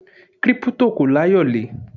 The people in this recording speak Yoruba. Kírípútò kò láyòlé.